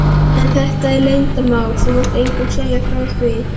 En þetta er leyndarmál, þú mátt engum segja frá því.